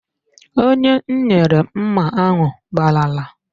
Onye m nyere mma ahụ gbalara